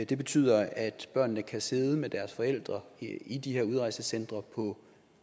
det betyder at børnene kan sidde med deres forældre i de her udrejsecentre på